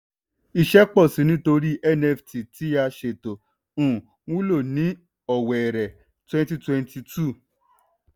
iṣẹ́ pọ̀ sí i nítorí nft tí a ṣe tó um wúlò ní ọ̀wẹ̀rẹ̀ twenty twenty two.